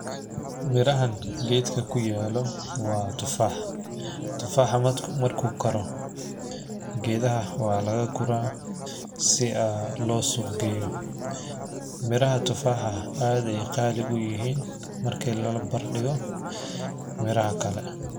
Mirahan geedka ku yaalo waa tufaaxa tufaaxa marki karo geedka waa lagaa guraa si loo suuq geeyo miraha tufaaxa aad ayeey qaali uyihiin.